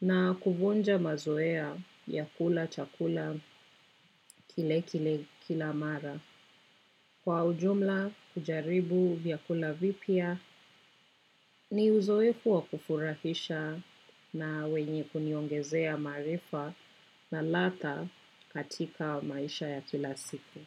na kuvunja mazoea ya kula chakula kile kile kila mara. Kwa ujumla kujaribu ya kula vipya, ni uzoefu wa kufurahisha na wenye kuniongezea maarifa na ladha katika maisha ya kila siku.